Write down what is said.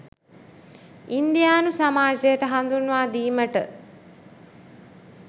ඉන්දියානු සමාජයට හඳුන්වාදීමට